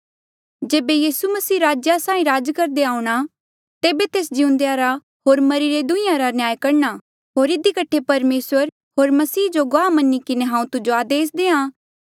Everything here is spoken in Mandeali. जेबे मसीह यीसू राजेया साहीं राज करदे आऊंणा तेबे तेस जिउंदे या रा होर मरिरे दुहीं रा न्याय करणा होर इधी कठे परमेसर होर मसीह जो गुआह मनी किन्हें हांऊँ तुजो आदेस देआ